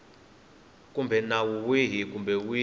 kumbe nawu wihi kumbe wihi